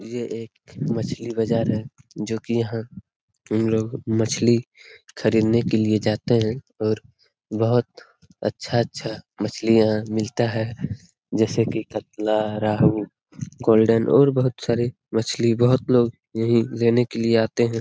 ये एक मछली बाजार है जो की यहाँ हम लोग मछली खरीदने के लिए जाते हैं और बहुत अच्छा-अच्छा मछली यहाँ मिलता है जैसे की कतला रेहु गोल्डन और बहुत सारे मछली बहुत लोग यहीं लेने के लिये आते हैं।